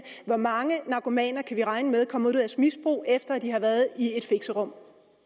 hvor mange narkomaner kan vi regne med kommer ud af misbrug efter at de har været i et fixerum